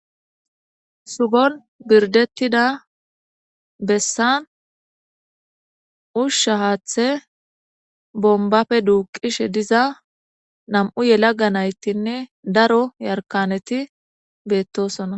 Shubon birdeta besan usha hathe bombabappe duqishe diza nam'u gelaga natine daro yarikanet betosona .